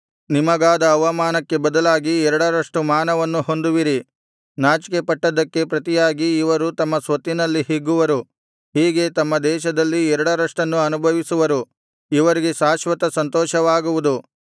ನಿಮಗಾದ ಅವಮಾನಕ್ಕೆ ಬದಲಾಗಿ ಎರಡರಷ್ಟು ಮಾನವನ್ನು ಹೊಂದುವಿರಿ ನಾಚಿಕೆಪಟ್ಟದ್ದಕ್ಕೆ ಪ್ರತಿಯಾಗಿ ಇವರು ತಮ್ಮ ಸ್ವತ್ತಿನಲ್ಲಿ ಹಿಗ್ಗುವರು ಹೀಗೆ ತಮ್ಮ ದೇಶದಲ್ಲಿ ಎರಡರಷ್ಟನ್ನು ಅನುಭವಿಸುವರು ಇವರಿಗೆ ಶಾಶ್ವತ ಸಂತೋಷವಾಗುವುದು